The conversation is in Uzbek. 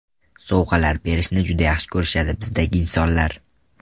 Sovg‘alar berishni juda yaxshi ko‘rishadi bizdagi insonlar.